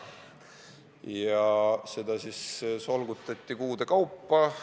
Ja seda teemat solgutati kuude kaupa.